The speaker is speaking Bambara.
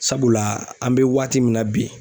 Sabula an bɛ waati min na bi.